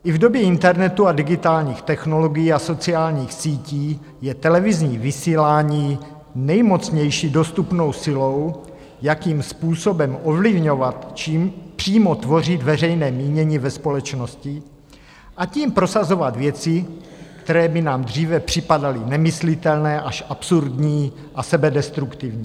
I v době internetu a digitálních technologií a sociálních sítí je televizní vysílání nejmocnější dostupnou silou, jakým způsobem ovlivňovat, či přímo tvořit veřejné mínění ve společnosti, a tím prosazovat věci, které by nám dříve připadaly nemyslitelné až absurdní a sebedestruktivní.